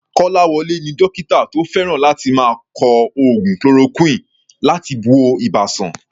Kolawole ni dókítà tó fẹ́ràn láti máa kọ oògùn chloroquine láti wo ibà sàn.